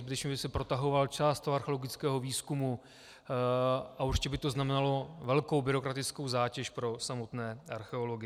Zbytečně by se protahoval čas archeologického výzkumu a určitě by to znamenalo velkou byrokratickou zátěž pro samotné archeology.